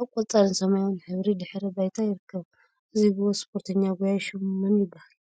አብ ቆፃልን ሰማያዊን ሕብሪ ድሕረ ባይታ ይርከብ፡፡ እዚ ጎበዝ ስፖርተኛ ጎያያይ ሹሙ መን ይበሃል?